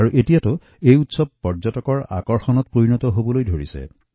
ই লাহে লাহে পৰ্যটনৰ আকৰ্ষণৰো এক কেন্দ্ৰবিন্দুত পৰিণত হৈছে